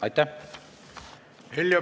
Aitäh!